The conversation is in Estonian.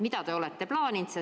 Mida te olete plaaninud?